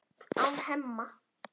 án Hemma.